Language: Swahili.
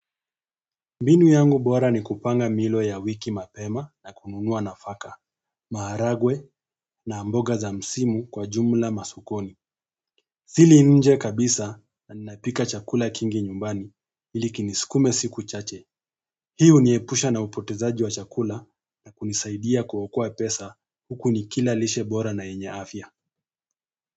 Mbinu yangu bora ni kupanga milo ya wiki mapema na kununua nafaka, maharagwe na mboga za msimu kwa jumla masukoni. Sili nje kabisa na ninapika chakula kingi nyumbani ili kinisikume siku chache. Hi huniepusha na upotezaji wa chakula na kunisaidia kuokoa pesa huku nikila lishe bora na yenya afya.